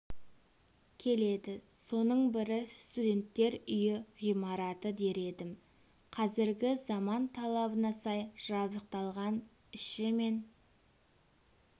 келеді соның бірі студенттер үйі ғимараты дер едім қазіргі заман талабына сай жабдықталған іші мен